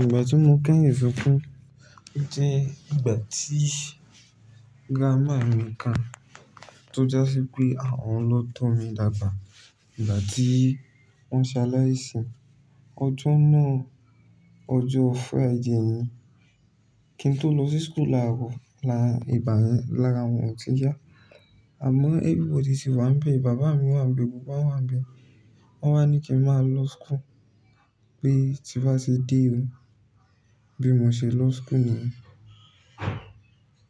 Ìgbà tí mo kẹ́hìn sunkún jẹ́ ìgbà tí grandma mi kan tó já sí pé àwọn ń lọ tọ́ mi dàgbà. Ìgbà tí wọ́n ṣaláì sì, ọjọ́ náà, ọjọ́ Friday ni, kí n tó lọ sí school laàrò, lára wọn ọtí yá. Àmọ́, everybody tì wá ń bẹ. Bàbá mi wà ń gbé, gbogbowa wà ń bẹ. Wọ́n wá ní kí n máa lọ school pé tí ń bá ti dé o bí mo ṣe lọ school mi.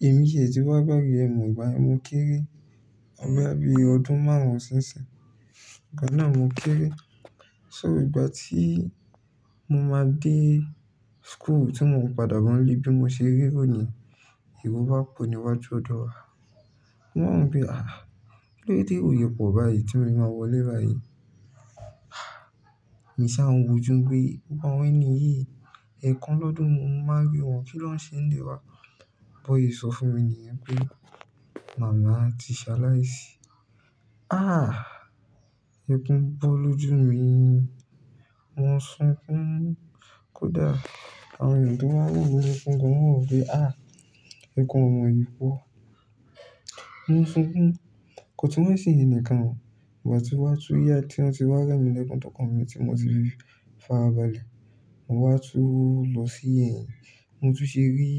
Èmi ti ẹ ti wá gbáge ẹ̀ mọ̀ ìgbà yẹn, mo kéré. Bóyá bí ọdún márùn-ún sí ìsìn. Ìgbà náà mo kéré. So ìgbà tí mo máa dé school tí mo ń padà bọ́ n'lé bí mo ṣe rí èrò ni yẹn, ero bá pọ̀ níwájú ọ̀dọ̀ wa. Mo wà wo pe, "àh, kí ló dé térò ṣe pọ̀ báyìí tí mo ṣe máa wọlé báyìí?" Èmi sá wọn wòjú pé, "gbogbo àwọn ẹni yi ẹ̀kan lọ́dún mo máa rí wọn. Kí lọ ń ṣe ń ilé wa?" Bó ṣe sọ fún mi nìyẹn pé, "màmá ti ṣaláì sì." Ah! Ẹkún bọ́ lójú mi. Mo sunkún. Kódà àwọn ènìyàn to wá wò mí, mo sunkún gan. Wọn ń gbé, "ah! Ẹkún ọmọ yìí pọ̀." Mo ń sunkún. Kò tún wà ṣe yẹn nìkan. Ìgbà tí a wa tun ya tí wọ́n ti wá remilekun tó kan mi tí mo ti fi fàbálẹ̀, mo wá tú lọ sí ẹ̀yìn. Mo tun ṣe rí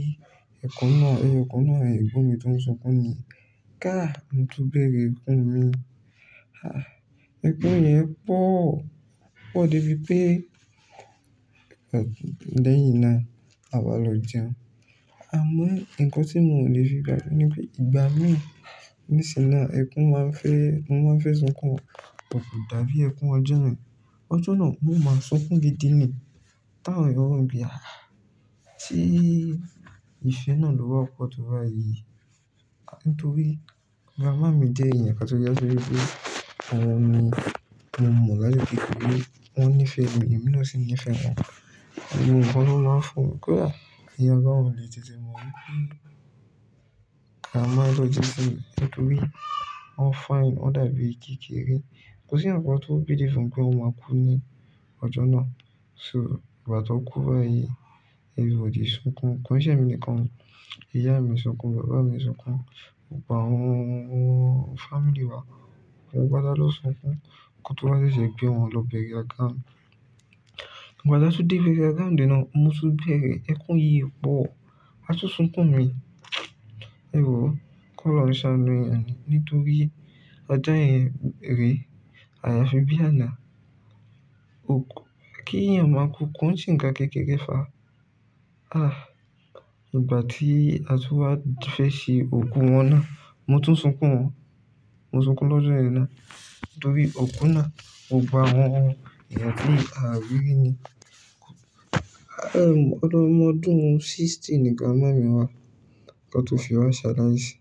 ẹyọ kan náà, ẹyọ kan náà nínú àwọn ẹ̀gbọ́n mí tó ń sunkún mi. Ká! Mo tún bẹ̀rẹ̀ ẹ̀kún mi. Ah! Ẹkún yẹn pọ̀. O pọ̀ débi pé lẹ́yìn náà a wá lọ jẹun. Àmọ́, ǹkan tí mo le fi gbàgbé ní pé ìgbà mí ní ìsìn náà, ẹ̀kún máa ń fẹ́, mo máa ń fẹ́ sunkún. But kò dàbí ẹ̀kún ọjọ́ náà. Ọjọ́ náà mo máa sunkún gidi ni. Tá òní wọn ń gbé, "àh! Tí ìfẹ́ náà lowa pọ̀ tó bá yí." Nítorí bàbá mi jẹ́ èyàn kán tó jẹ́ sí wípé àwọn mi, mo mọ̀ lájú tí pé wọ́n níìfẹ́ mi, èmi náà sì níìfẹ́ wọn. Ìgbà wo ni wọ́n máa ń fò? Kódà èyàn gan lè tètè mọ wípé grandma ló jẹ́ sí mi nítorí wọ́n fine, wọ́n dàbí ìgí kéré. Kò sí ǹkan kan tó believe pé wọn máa kú ní ọjọ́ náà. So ìgbà tó kú báyìí, everybody sunkún. Kò sí ẹ̀mí nìkan. Ìyá mi sunkún, bàbá mi sunkún, gbogbo àwọn family wa. Gbogbo wọn pátá lọ sunkún. Ǹkan tó bá ṣẹ̀ṣẹ̀ gbé wọn lọ bẹ̀rẹ̀ àga. Ìgbà tán tún dé burial ground náà, mo tún bẹ̀rẹ̀ ẹ̀kún yìí pọ̀. A tún sunkún mi. Ẹ wo kọ́'lóhùn ó ṣàánú èyàn ni nítorí ọjọ́ ẹ̀yẹn rè, àyàfi bí àlá. Òkú, kí èèyàn máa kú, kò sí ǹkan kékeré fà á. Ah, ìgbà tí a tú wá fẹ́ ṣe òkú wọn náà, mo tún sunkún wọn. Mo sunkún lọ́jọ́ ìyẹn náà nítorí òkú náà, ò gba àwọn ènìyàn tó ní àrírí ni. Àí, ọdún ọmọ ọdún sixty ni grandma mi wá. Ọ̀tọ̀ọ̀tọ̀ fi wá ṣaláì sì.